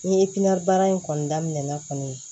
N ye baara in kɔni daminɛ kɔni